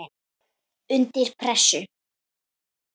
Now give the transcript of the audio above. Undir pressu.